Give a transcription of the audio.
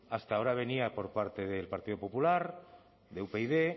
hasta ahora venía por parte del partido popular de upyd